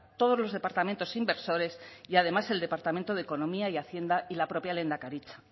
todos los departamentos inversores y además el departamento de economía y hacienda y la propia lehendakaritza